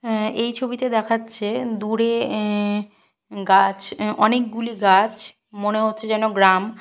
অ্যা এই ছবিতে দেখাচ্ছে দূরে অ্যা গাছ অ্যা অনেকগুলি গাছ মনে হচ্ছে যেন গ্রাম।